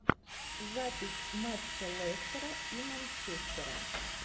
запись матча лестера и манчестера